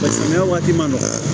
Paseke sɛnɛkɛ waati ma nɔgɔya